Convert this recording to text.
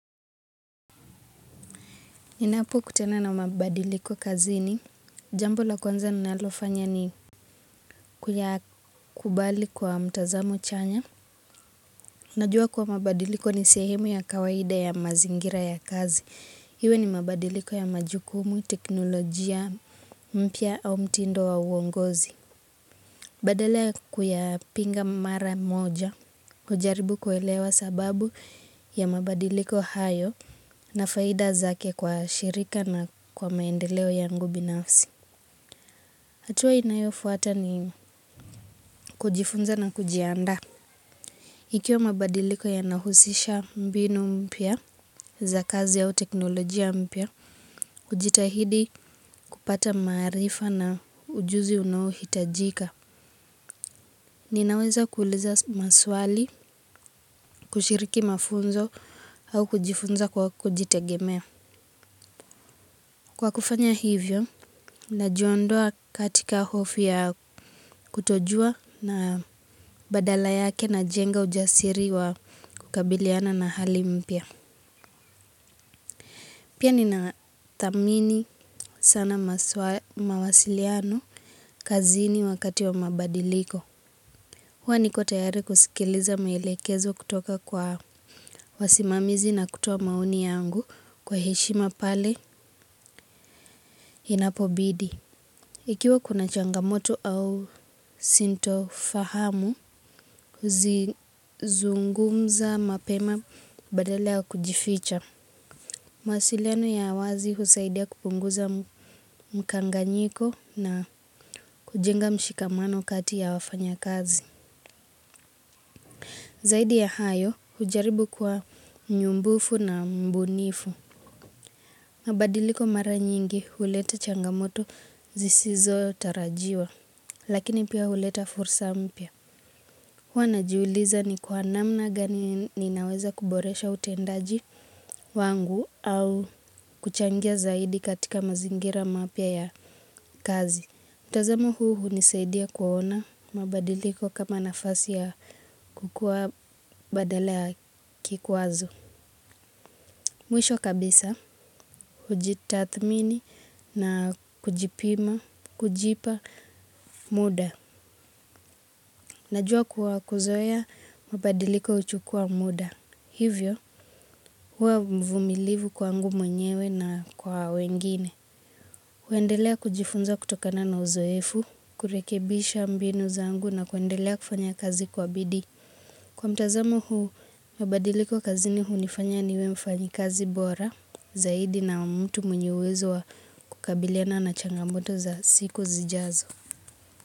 Ninapo kutana na mabadiliko kazini, jambo la kwanza ninalofanya ni, kuyakubali kwa mtazamo chanya. Najua kuwa mabadiliko ni sehemu ya kawaida ya mazingira ya kazi. Iwe ni mabadiliko ya majukumu, teknolojia mpya au mtindo wa uongozi. Badala ya kuyapinga mara moja, hujaribu kuelewa sababu ya mabadiliko hayo na faida zake kwa shirika na kwa maendeleo yangu binafsi. Hatua inayofuata ni kujifunza na kujiandaa. Ikiwa mabadiliko yanahusisha mbinu mpya, za kazi au teknolojia mpya, hujitahidi kupata maarifa na ujuzi unao hitajika. Ninaweza kuuliza maswali, kushiriki mafunzo au kujifunza kwa kujitegemea. Kwa kufanya hivyo, na jiondoa katika hofu ya kutojua na badala yake na jenga ujasiri wa kukabiliana na hali mpya. Pia nina thamini sana mawasiliano, kazini wakati wa mabadiliko. Huwa niko tayari kusikiliza mielekezo kutoka kwa wasimamizi na kutoa maoni yangu, kwa heshima pale, inapobidi. Ikiwa kuna changamoto au sintofahamu, huzi zungumza mapema, badale ya kujificha. Mawasiliano ya wazi husaidia kupunguza mkanganyiko na kujenga mshikamano kati ya wafanya kazi. Zaidi ya hayo, hujaribu kuwa mnyumbufu na mbunifu. Mabadiliko mara nyingi, huleta changamoto zisizotarajiwa. Lakini pia huleta fursa mpya. Huwa najuuliza ni kwa namna gani ninaweza kuboresha utendaji wangu au kuchangia zaidi katika mazingira mapya ya kazi. Mtazamo huu hunisaidia kuona mabadiliko kama nafasi ya kukua badala ya kikwazo. Mwisho kabisa, hujitathmini na kujipima, kujipa muda. Najua kuwa kuzoea mabadiliko huchukua muda. Hivyo, hua mvumilivu kwangu mwenyewe na kwa wengine. Huendelea kujifunza kutokana na uzoefu, kurekebisha mbinu zangu na kuendelea kufanya kazi kwa bidii. Kwa mtazamo huu, mabadiliko kazini hunifanya niwe mfanyi kazi bora, zaidi na mtu mwenye uwezo wa kukabiliana na changamoto za siku zijazo.